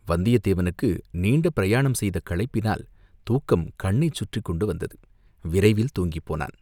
வந்தியத்தேவனுக்கு நீண்ட பிரயாணம் செய்த களைப்பினால் தூக்கம் கண்ணைச் சுற்றிக் கொண்டு வந்தது, விரைவில் தூங்கிப் போனான்.